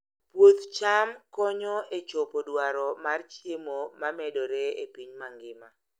Puoth cham konyo e chopo dwaro mar chiemo ma medore e piny mangima.